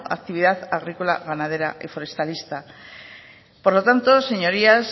actividad agrícola ganadera y forestalista por lo tanto señorías